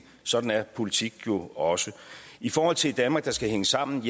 sådan er politik jo også i forhold til et danmark der skal hænge sammen